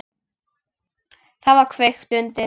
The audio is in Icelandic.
Þá var kveikt undir.